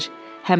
Bəri ver.